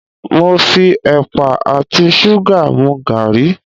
Mo fi ẹ̀pà àti ṣúgà mu gàrí.